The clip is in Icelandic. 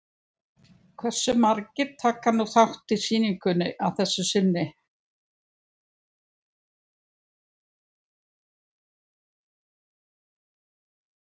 Hversu margir taka nú þátt í sýningunni að þessu sinni?